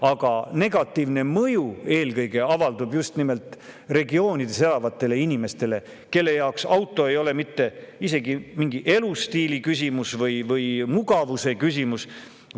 Aga negatiivne mõju eelkõige avaldub just nimelt maaregioonides elavatele inimestele, kelle jaoks auto ei ole mitte isegi mingi elustiili küsimus või mugavuse küsimus.